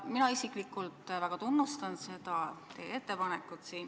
Mina isiklikult väga tunnustan seda teie ettepanekut.